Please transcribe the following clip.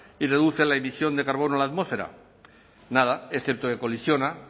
y reduce la emisión de carbono a la atmósfera nada es cierto que colisiona